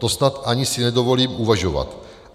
To snad ani si nedovolím uvažovat.